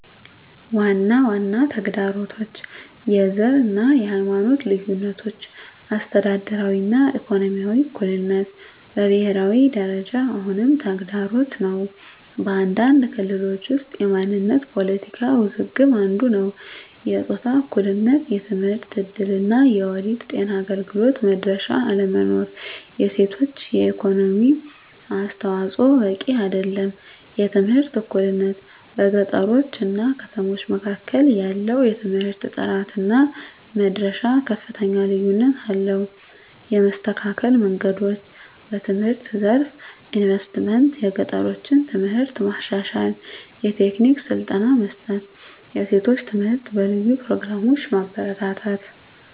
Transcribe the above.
ዋና ዋና ተግዳሮቶች፦ # የዘር እና የሃይማኖት ልዩነቶች - አስተዳደራዊ እና ኢኮኖሚያዊ እኩልነት በብሄራዊ ደረጃ አሁንም ተግዳሮት ነው። በአንዳንድ ክልሎች ውስጥ የማንነት ፖለቲካ ውዝግብ አንዱ ነዉ። #የጾታ እኩልነት የትምህርት እድል እና የወሊድ ጤና አገልግሎት መድረሻ አለመኖር። የሴቶች የኢኮኖሚ አስተዋፅዖ በቂ አይደለም። #የትምህርት እኩልነት - በገጠሮች እና ከተሞች መካከል ያለው የትምህርት ጥራት እና መድረሻ ከፍተኛ ልዩነት አለው። የመስተካከል መንገዶች፦ #በትምህርት ዘርፍ ኢንቨስትመንት - የገጠሮችን ትምህርት ማሻሻል፣ የቴክኒክ ስልጠና መስጠት፣ የሴቶች ትምህርት በልዩ ፕሮግራሞች ማበረታታት።